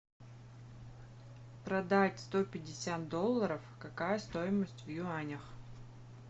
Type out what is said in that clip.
продать сто пятьдесят долларов какая стоимость в юанях